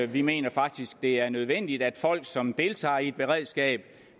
vi mener faktisk det er nødvendigt at folk som deltager i et beredskab